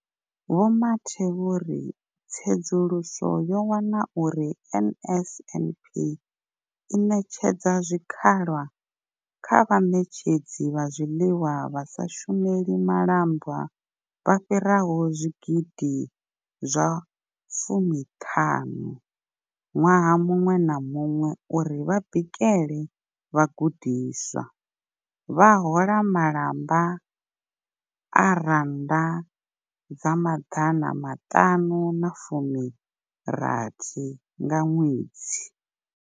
Vho Mathe vho ri tsedzuluso yo wana uri NSNP i ṋetshedza zwikhala kha vhaṋetshedzi vha zwiḽiwa vha sa shumeli malamba vha fhiraho zwigidi zwa fumi ṱhanu ṅwaha muṅwe na muṅwe uri vha bikele vhagudiswa, vha hola malamba a R960 nga ṅwedzi.